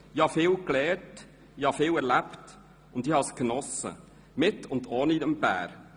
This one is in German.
Ich habe viel gelernt, ich habe viel erlebt, und ich habe es genossen, mit und ohne Bär.